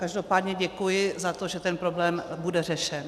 Každopádně děkuji za to, že ten problém bude řešen.